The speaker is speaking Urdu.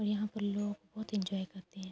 یہاں پر لوگ بھوت ینجوے کرتے ہے۔